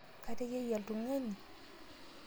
Kateyiayie ltung'ani?